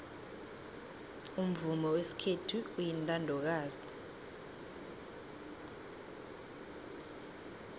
umvumo wesikhethu uyintandokazi